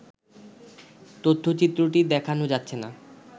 তথ্যচিত্রটি দেখানো যাচ্ছে না